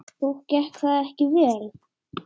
Og gekk það ekki vel.